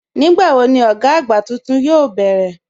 Nígbàwọ̀ ni ọ̀gá agbá túntún yoo bẹ̀rẹ̀?